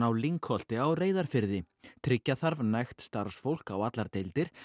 Lyngholti á Reyðarfirði tryggja þarf nægt starfsfólk á allar deildir